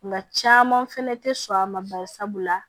Nka caman fɛnɛ tɛ sɔn a ma bari sabula